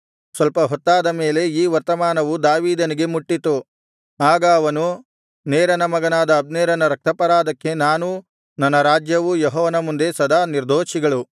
ಸ್ವಲ್ಪ ಹೊತ್ತಾದ ಮೇಲೆ ಈ ವರ್ತಮಾನವು ದಾವೀದನಿಗೆ ಮುಟ್ಟಿತು ಆಗ ಅವನು ನೇರನ ಮಗನಾದ ಅಬ್ನೇರನ ರಕ್ತಾಪರಾಧಕ್ಕೆ ನಾನೂ ನನ್ನ ರಾಜ್ಯವೂ ಯೆಹೋವನ ಮುಂದೆ ಸದಾ ನಿರ್ದೋಷಿಗಳು